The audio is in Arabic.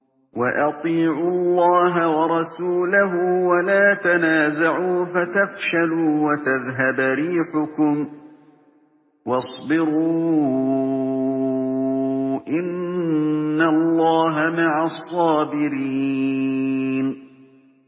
وَأَطِيعُوا اللَّهَ وَرَسُولَهُ وَلَا تَنَازَعُوا فَتَفْشَلُوا وَتَذْهَبَ رِيحُكُمْ ۖ وَاصْبِرُوا ۚ إِنَّ اللَّهَ مَعَ الصَّابِرِينَ